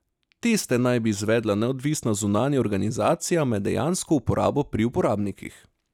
Teste naj bi izvedla neodvisna zunanja organizacija med dejansko uporabo pri uporabnikih.